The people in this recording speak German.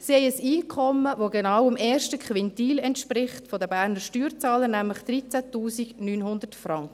Sie haben ein Einkommen, das genau dem ersten Quintil der Berner Steuerzahler entspricht, nämlich 13 900 Franken.